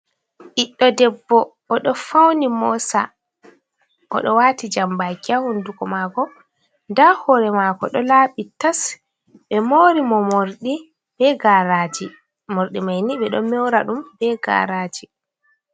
Ɓiɗɗo debbo o ɗo fauni mosa, oɗo wati jambaki ha hunduko mako, nda hore mako ɗo laaɓi tas, ɓe mauri mo morɗi be garaji, morɗi maini ɓe ɗo mora ɗum be garaji.